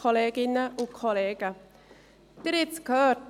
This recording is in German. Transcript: Sie haben es gehört: